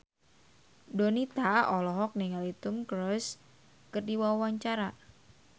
Donita olohok ningali Tom Cruise keur diwawancara